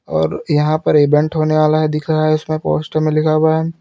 और यहां पर इवेंट होने वाला है दिख रहा है उसमें पोस्टर में लिखा हुआ है।